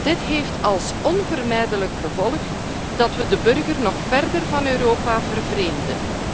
Dit heeft als onvermijdelijk gevolg dat we de burger nog verder van Europa vervreemden.